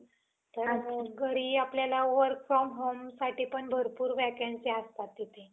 घरी आपल्याला work from homeसाठी पण vacancy असतात तिथे.